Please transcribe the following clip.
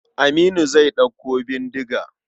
Aminu zai ɗauko bindiga.